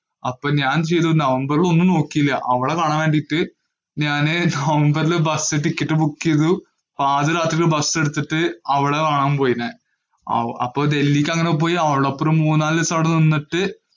അപ്പൊ ഞാന്‍ ചെയ്തു നവംബറും ഒന്നും നോക്കില്ല. അവളെ കാണാന്‍ വേണ്ടീട്ട് ഞാന് നവംബറില്‍ bus ticket book ചെയ്തു. പാതിരാത്രിക്ക്‌ bus എടുത്തിട്ടു അവളെ കാണാന്‍ പോയി ഞാന്‍. അപ്പൊ ഡല്‍ഹിക്ക് അങ്ങനെ പോയി അവളോടൊപ്പം മൂന്നാല് ദിവസം അവിടെ നിന്നിട്ട്